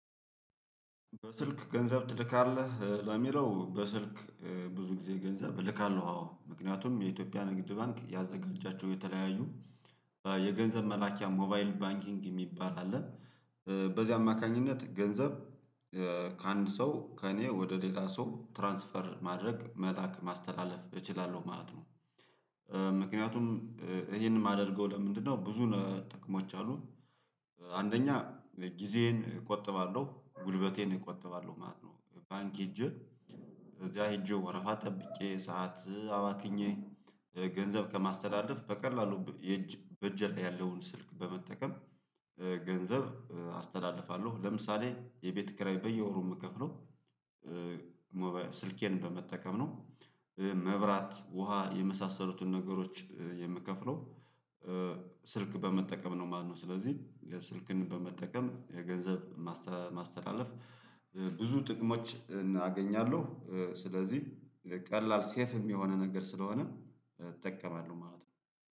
በስልክ ገንዘብ ትልካለህ ለሚለው በስልክ ብዙ ጊዜ ገንዘብ እልካለሁ አዎ ምክንያቱም የኢትዮጵያ ንግድ ባንክ ያዘጋጃቸው የተለያዩ የገንዘብ መላኪያ ሞባይል ባንኪንግ የሚባል አለ በዚህ አማካኝነት ገንዘብ ከአንድ ሰው ከእኔ ወደ ሌላ ሰው ትራንስፈር ማድረግ መላክ ማስተላለፍ እችላለሁ ማለት ነው ምክንያቱም ይሄንን ማደርገው ለምንድነው ብዙ ነ ጥቅሞች አሉን አንደኛ ጊዜዬን እቆጥባለሁ ጉልበቴን እቆጥባለሁ ማለት ነው ባንክ ሄጄ እዚያ ሄጄ ወረፋ ጠብቄ ሰዓት አባክኜ ገንዘብ ከማስተዳድር በቀላሉ የእጅ በእጅ ያለውን ስልክ በመጠቀም ገንዘብ አስተላልፋለሁ ለምሳሌ የቤት ኪራይ በየወሩ ምከፍለው ስልኬን በመጠቀም ነው መብራት፣ ውሃ የመሳሰሉትን ነገሮች የምከፍለው ስልክ በመጠቀም ነው ማለት ነው ስለዚህ ስልክን በመጠቀም የገንዘብ ማስተ ማስተላለፍ ብዙ ጥቅሞች እናገኛለሁ ስለዚህም ቀላል ሴፍም የሆነ ነገር ስለሆነ እጠቀማለሁ ማለት ነው።